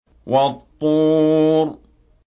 وَالطُّورِ